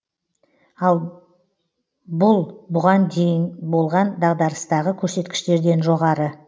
бұл бұған дейін болған дағдарыстағы көрсеткіштерден жоғары